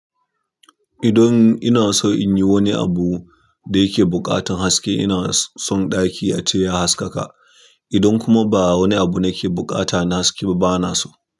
Idan ina son in yi wani abu da yake buƙatar haske, ina son ɗaki ace ya haskaka. Idan kuma ba wani abu na ke buƙata na haske ba, bana so.